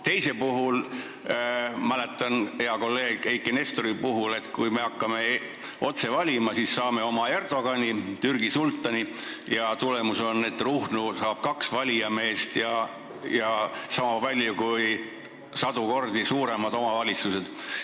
Teise eelnõu puhul meenutan hea kolleegi Eiki Nestori sõnu, et kui me hakkame presidenti otse valima, siis saame oma Erdogani, Türgi sultani, ja tulemus on, et Ruhnu saab kaks valijameest, niisama palju kui sadu kordi suuremad omavalitsused.